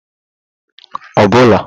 obula